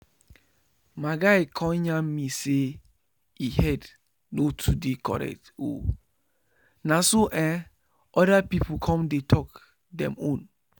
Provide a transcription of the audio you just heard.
my guy con yarn me say e head no too dey correct o na so ehh oda people come dey talk dem own